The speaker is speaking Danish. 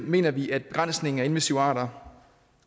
mener vi at begrænsningen af invasive arter